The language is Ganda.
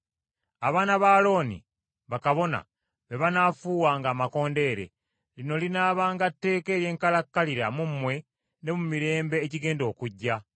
“Abaana ba Alooni, bakabona, be banaafuuwanga amakondeere. Lino linaabanga tteeka ery’enkalakkalira mu mmwe ne mu mirembe egigenda okujja.